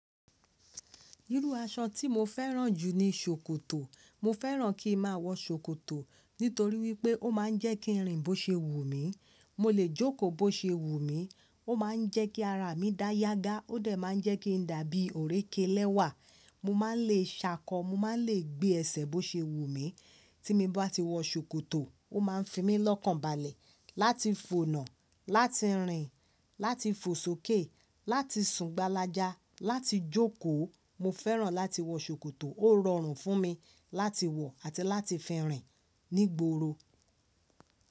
Irú aṣọ tí mo fẹ́ràn jù ni ṣòkòtò. Mo fẹ́ràn kí n má a wọ ṣòkòtò nítorí wípé ó má a ń jẹ́ kí n rìn bó ṣe wù mí, mo lè jókòó bó ṣe wù mí, ó má a ń jẹ́ kí ara mi dá yágá, ó dẹ̀ má a ń jẹ́ kí n dàbí ọ̀rẹ́kẹ́ lẹ́wà, mo má a lè ṣákọ, mo má a lè gbé ẹsẹ̀ bó ṣe wù mí. Tí mo bá ti wọ ṣòkòtò, ó má a ń fi mí lọ́kànbalẹ̀ láti fònà, láti rìn, láti fò sókè, láti sùn gbálájá, láti jókòó. Mo fẹ́ràn láti wọ ṣòkòtò, ó rọrùn fún mi láti wọ àti láti fi rìn ní gboro.